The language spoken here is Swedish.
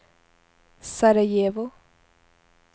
Sarajevo